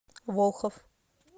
волхов